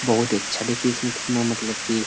बहुत ही अच्छा देखिये इसमें कितना मतलब की --